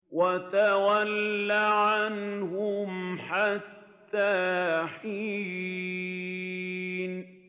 وَتَوَلَّ عَنْهُمْ حَتَّىٰ حِينٍ